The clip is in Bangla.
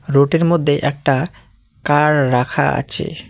রোটের মধ্যে একটা কার রাখা আছে।